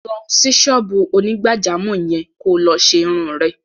Lọ sí ṣọ́ọ́bù onígbàjámọ̀ yẹn kó lọ ṣe irun rẹ!